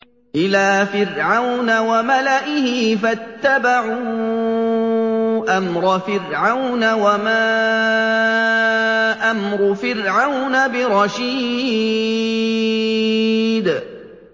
إِلَىٰ فِرْعَوْنَ وَمَلَئِهِ فَاتَّبَعُوا أَمْرَ فِرْعَوْنَ ۖ وَمَا أَمْرُ فِرْعَوْنَ بِرَشِيدٍ